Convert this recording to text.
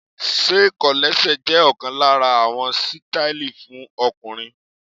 Ṣé kọ̀lẹ́sẹ̀ jẹ́ ọ̀kan lára àwọn sítáílì fún ọkùnrin?